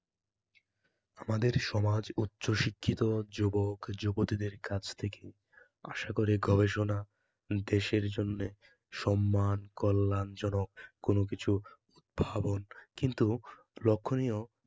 আমাদের সমাজ উচ্চশিক্ষিত যুবক যুবতীদের কাছ থেকে আশা করে গবেষণা, দেশের জন্য সম্মান কল্যাণজনক কোনো কিছু উদ্ভাবন কিন্তু লক্ষণীয়